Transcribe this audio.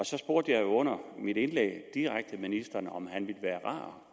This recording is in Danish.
så spurgte jeg under mit indlæg direkte ministeren om han ville være